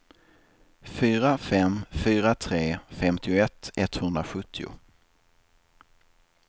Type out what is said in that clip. fyra fem fyra tre femtioett etthundrasjuttio